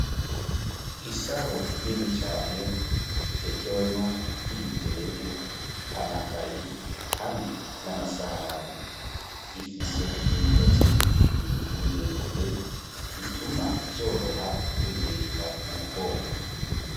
Isaho nini cane itekewemwo ibitenge amakaye hamwe n'amasahani ifise imigozi imiremire ituma vyoroha kuiheka mu mugongo.